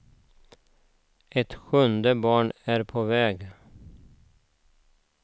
Ett sjunde barn är på väg.